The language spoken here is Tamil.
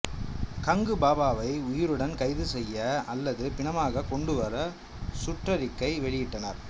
கங்கு பாபாவை உயிருடன் கைது செய்ய அல்லது பிணமாக கொண்டுவர சுற்றறிக்கை வெளியிட்டனர்